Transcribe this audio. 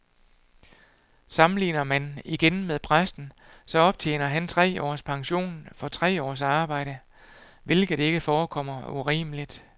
Sammenligner man igen med præsten, så optjener han tre års pension for tre års arbejde, hvilket ikke forekommer urimeligt.